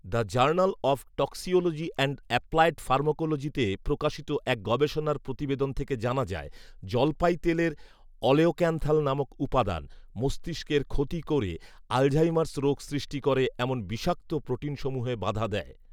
'the journal of toxicology and applied ফার্মাকোলজি'তে প্রকাশিত এক গবেষণার প্রতিবেদন থেকে জানা যায়, জলপাই তেলের অলেওক্যান্থাল নামক উপাদান, মস্তিষ্কের ক্ষতি করে আল্ঝাইমার’স রোগ সৃষ্টি করে এমন বিষাক্ত প্রোটিনসমূহে বাধা দেয়